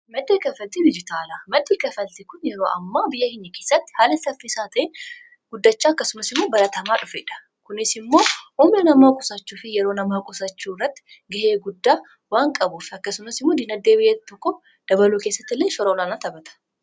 maxo kafalti rijitaalaa maxiikafalti kun yeroo ammaa biyya hinyikiisatti haala saffiiisaa ta'e guddacha akkasumas imuo baratamaa dhufedha kunis immoo umea namaa qusaachuu fi yeroo namaa qusachuu irratti ga'ee guddaa waan qabuuf akkasumasimuu dina dee biyyatoko dabaluu kessatti ille shoroolaanaa tapata